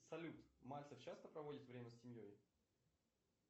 салют мальцев часто проводит время с семьей